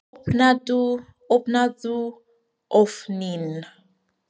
Opnaðu ofninn!